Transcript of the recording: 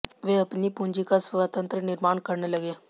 वे अपनी पूंजी का स्वतंत्र निर्माण करने लगे